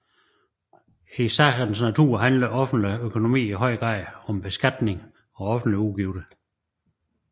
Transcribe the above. I sagens natur handler offentlig økonomi i høj grad om beskatning og offentlige udgifter